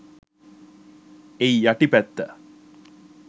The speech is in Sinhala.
එයි යටි පැත්ත